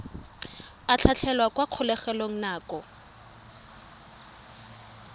a tlhatlhelwa kwa kgolegelong nako